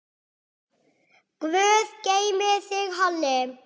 Guð geymi þig, Halli.